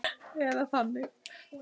Eða þannig.